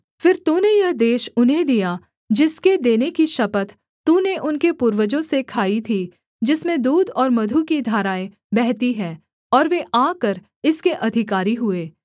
फिर तूने यह देश उन्हें दिया जिसके देने की शपथ तूने उनके पूर्वजों से खाई थी जिसमें दूध और मधु की धाराएँ बहती हैं और वे आकर इसके अधिकारी हुए